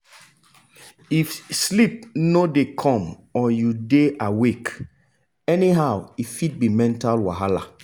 if sleep no dey come or you dey awake anyhow e fit be mental wahala.